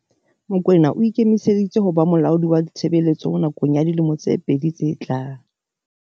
Mokoena o ikemiseditse ho ba molaodi wa ditshebetso nakong ya dilemo tse pedi tse tlang.